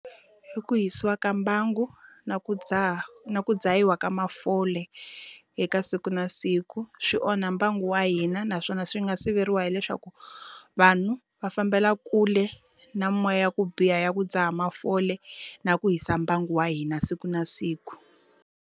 I ku hisiwa ka mbangu na ku dzaha na ku dzahiwa ka mafole, eka siku na siku. Swi onha mbangu wa hina naswona swi nga siveriwa hileswaku, vanhu va fambela kule na moya ya ku biha ya ku dzaha mafole, na ku hisa mbangu wa hina siku na siku.